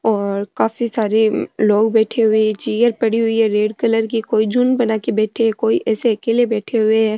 और काफी सारे लोग बैठे हुए है एक चेयर पड़ी हुई है रेड कलर की कोई झुण्ड बनाके बैठे है कोई ऐसे अकेले बैठे हुए है।